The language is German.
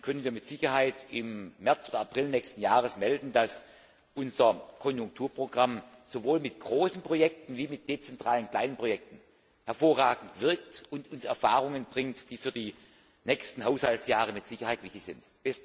Dann können wir mit Sicherheit im März oder April nächsten Jahres melden, dass unser Konjunkturprogramm sowohl mit großen Projekten als auch mit dezentralen kleinen Projekten hervorragend wirkt und uns Erfahrungen bringt, die für die nächsten Haushaltsjahre mit Sicherheit wichtig sind.